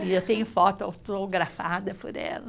E eu tenho foto autografada por ela.